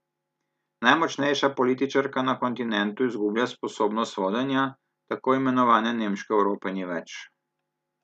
Najmočnejša političarka na kontinentu izgublja sposobnost vodenja, tako imenovane nemške Evrope ni več.